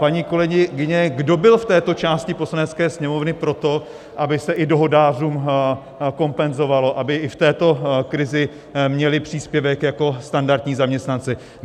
Paní kolegyně, kdo byl v této části Poslanecké sněmovny pro to, aby se i dohodářům kompenzovalo, aby i v této krizi měli příspěvek jako standardní zaměstnanci?